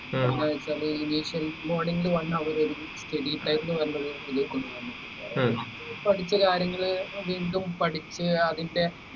കഴിഞ്ഞാൽ morning one hour ആയിരിക്കും studytime ന്നു പറഞ്ഞ ഒരിത് കൊണ്ട് . അത് പഠിച്ച കാര്യങ്ങൾ വീണ്ടും പഠിച്ച് അതിന്റെ